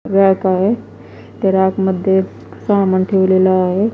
Rake आहे ते rack मध्ये समान ठेवलेला आहे.